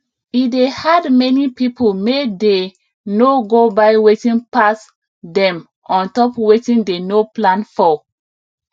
e dey hard many people may dey no go buy wetin pass dem on top wetin dey no plan for